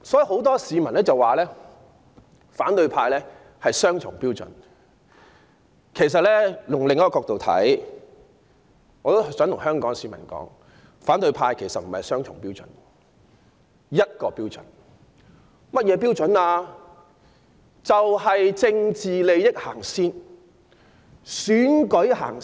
很多市民指責反對派雙重標準，但從另一角度看，我很想告訴香港市民，他們其實不是雙重標準，而是只有一個標準，那是甚麼呢？